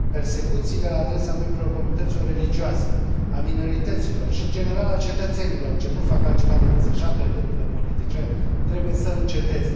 Persecuțiile la adresa membrilor comunităților religioase, a minorităților și, în general, a cetățenilor ce nu fac altceva decât să își apere drepturile politice, trebuie să înceteze.